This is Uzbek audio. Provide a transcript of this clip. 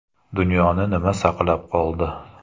Dunyoni nima saqlab qoldi?